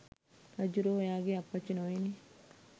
රජ්ජුරුවෝ ඔයාගේ අප්පච්චි නොවෙයිනේ.